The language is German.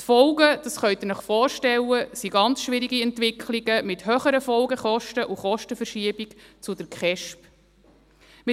Die Folgen, das können Sie sich vorstellen, sind ganz schwierige Entwicklungen, mit höheren Folgekosten und einer Kostenverschiebung zur Kindes- und Erwachsenenschutz Polizei (KESP).